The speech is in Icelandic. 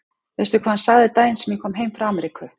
Veistu hvað hann sagði daginn sem ég kom heim frá Ameríku?